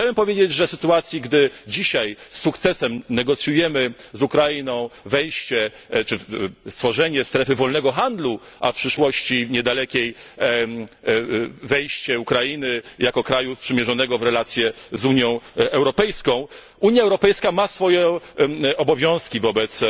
Chciałbym powiedzieć, że w sytuacji, gdy dzisiaj z sukcesem negocjujemy z Ukrainą wejście czy tworzenie strefy wolnego handlu, a w niedalekiej przyszłości wejście Ukrainy jako kraju sprzymierzonego w relacje z Unią Europejską, Unia Europejska ma swoje obowiązki wobec